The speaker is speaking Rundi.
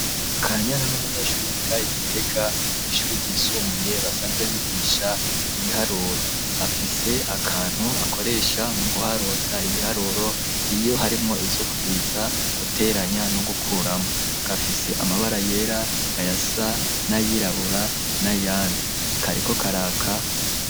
Kanyana n'umunyeshuri yiga Igitega ku ishuri ryisumbuye basanzwe bigisha ibiharuro afise akantu akoresha mu guharuza ibiharuro, iyo harimo ivyo kugwiza guteranya no gukuramo, gafise amabara yera ayasa n'ayirabura n'ayandi, ntikariko karaka.